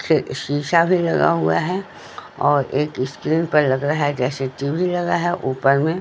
फिर शीशा भी लगा हुआ है और एक स्क्रीन पर लग रहा है जैसे टीवी लगा है ऊपर में--